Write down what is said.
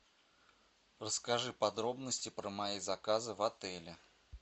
расскажи подробности про мои заказы в отеле